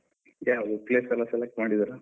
ಯಾವುದು place ಎಲ್ಲ select ಮಾಡಿದೀರಾ?